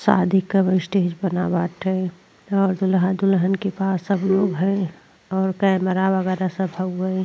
शादी कब स्टेज बना बाटै और दुलहा दुलहन के पास सब लोग है और कैमरा वगैरा सब हउए।